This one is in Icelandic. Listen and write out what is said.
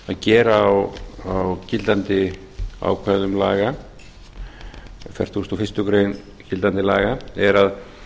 gera á gildandi ákvæðum laga fertugasta og fyrstu grein gildandi laga er að